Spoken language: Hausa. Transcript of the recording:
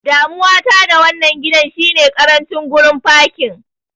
Damuwa ta da wannan gidan shine ƙarancin gurin fakin.